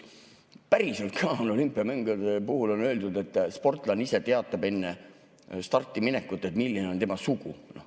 Päriselt ka on olümpiamängude puhul öeldud, et sportlane ise teatab enne starti minekut, milline on tema sugu.